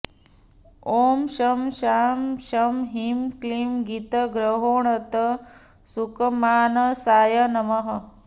ॐ शं शां षं ह्रीं क्लीं गीतग्रहणोत्सुकमानसाय नमः